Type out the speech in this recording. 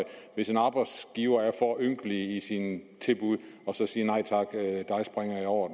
hvis en arbejdsgiver er for ynkelig i sine tilbud at sige nej tak dig springer jeg over